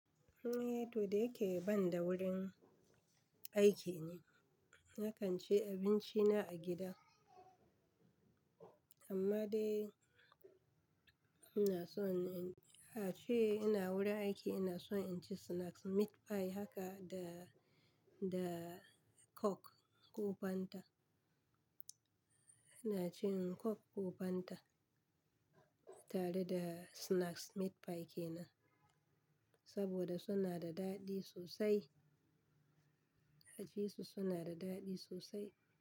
Eh, to da yake ban da wurin aiki ne, nakan ci abinci na a gida. Amma dai ina son, a cee ina wurin aiki ina son in ci snacks meat pie haka da, da coke ko fanta. Ina cin coke ko fanta tare da snacks meat pie kenan, saboda suna da daɗi sosai. Haji su suna da daɗi sosai.